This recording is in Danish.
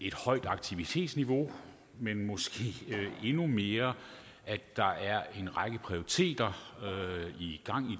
et højt aktivitetsniveau men måske endnu mere at der er en række prioriteter i gang